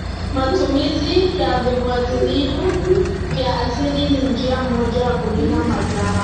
Matumizi ya viuatilifu vya asili ni njia moja ya kulinda mazao.